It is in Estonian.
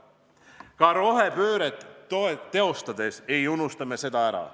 Ka rohepööret teostades ei unusta me seda ära.